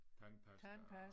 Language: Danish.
Tandpasta og